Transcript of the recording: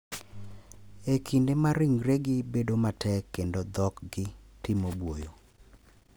e kinde ma ringregi bedo matek kendo dhokgi timo buoyo.